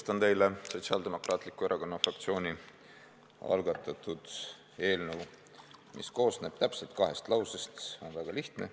Tutvustan teile Sotsiaaldemokraatliku Erakonna fraktsiooni algatatud eelnõu, mis koosneb täpselt kahest lausest, on väga lihtne.